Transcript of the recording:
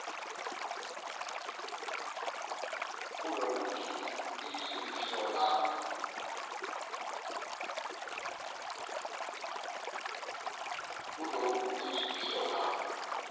kuneoku iliso lam